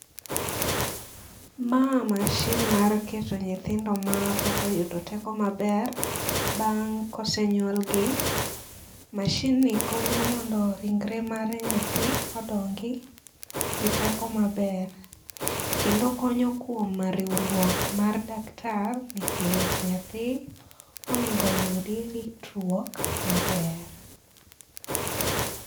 Ma mashin mar keto nyithindo ma pok oyudo teko maber, bang' kosenyuol gi. Mashin ni konyo mondo ringre mare nyathi odongi, gi teko maber. Kendo okonyo kuom riwruok mar daktar nikech nyathi oningo oyudi ritruok maber